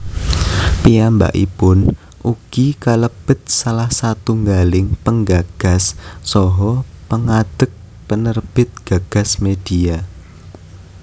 Piyambakipun ugi kalebet salah satunggaling penggagas saha pengadeg penerbit GagasMedia